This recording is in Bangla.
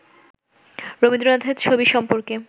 রবীন্দ্রনাথের ছবি সম্পর্কে